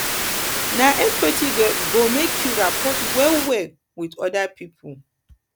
na empathy go make you rapport wellwell wit oda pipo